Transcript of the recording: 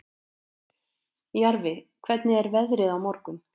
Jarfi, hvernig er veðrið á morgun?